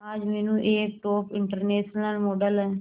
आज मीनू एक top international model है